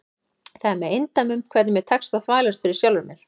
Það er með eindæmum hvernig mér tekst að þvælast fyrir sjálfri mér.